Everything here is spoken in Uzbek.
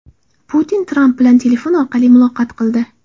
Putin Tramp bilan telefon orqali muloqot qildi.